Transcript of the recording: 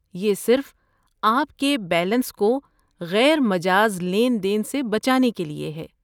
یہ صرف آپ کے بیلنس کو غیر مجاز لین دین سے بچانے کے لیے ہے۔